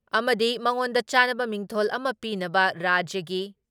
ꯑꯃꯗꯤ ꯃꯉꯣꯟꯗ ꯆꯥꯟꯅꯕ ꯃꯤꯡꯊꯣꯜ ꯑꯃ ꯄꯤꯅꯕ ꯔꯥꯖ꯭ꯌꯒꯤ